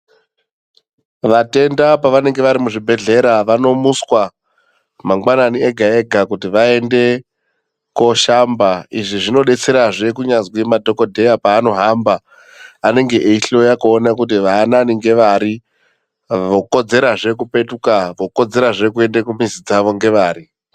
Vatenda pavanenge vari muzvibhedhlera vanomuswa mangwanani ega-ega kuti vaende kooshamba. Izvi zvinodetserazve kunyazwi madhogodheya paanohamba anenge eihloya kuona kuti vaanani ngevari vokodzerazve kupetuka, vokodzerazve kuende kumizi dzavo ngevari.